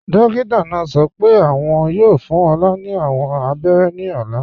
Dókítà náà sọ́ pẹ́ awọn yóò fún Olá ni awọn àbẹ̀rẹ̀ ní ọ̀là.